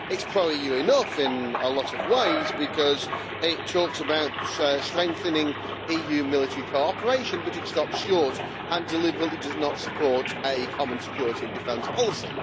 It is pro EU enough in a lot of ways, because it talks about strengthening EU military cooperation, but it stops short and deliberately does not support a common security and defence policy.